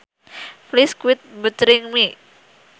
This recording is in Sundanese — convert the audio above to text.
Please quit bothering me